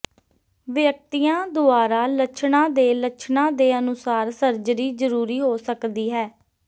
ਵਿਅਕਤੀਆਂ ਦੁਆਰਾ ਲੱਛਣਾਂ ਦੇ ਲੱਛਣਾਂ ਦੇ ਅਨੁਸਾਰ ਸਰਜਰੀ ਜ਼ਰੂਰੀ ਹੋ ਸਕਦੀ ਹੈ